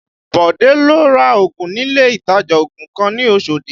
Bode lọ ra ògùn nílé ìtajà ògùn kan ní Oshodi